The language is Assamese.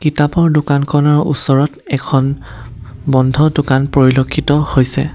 কিতাপৰ দোকানখনৰ ওচৰত এখন বন্ধ দোকান পৰিলক্ষিত হৈছে।